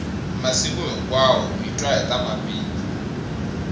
masiku hinkwawo hi twa hita mabindzu